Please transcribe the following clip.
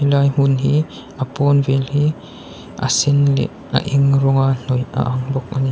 he lai hmun hi a pawn vel hi a sen leh a eng rawnga hnawih a ang bawk a ni.